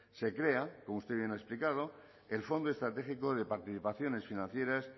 se crea como usted bien ha explicado el fondo estratégico de participaciones financieras